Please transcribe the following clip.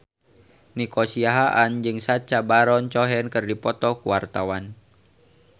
Nico Siahaan jeung Sacha Baron Cohen keur dipoto ku wartawan